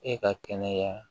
E ka kɛnɛya